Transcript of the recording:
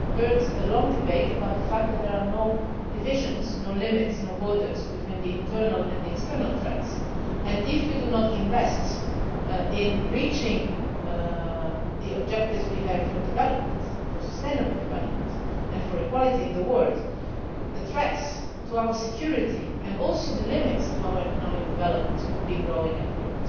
will have heard a long debate about the fact that there are no divisions, no limits and no borders between internal and external threats, and if we do not invest in reaching the objectives we have for development for sustainable development and for equality in the world, the threats to our security and also the limits to our economic development will just grow and grow.